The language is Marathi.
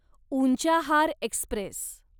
उंचाहार एक्स्प्रेस